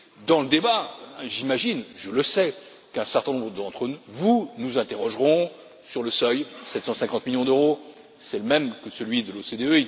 Dans le débat, j'imagine, je le sais, qu'un certain nombre d'entre vous nous interrogeront sur le seuil 750 millions d'euros, c'est le même que celui de l'OCDE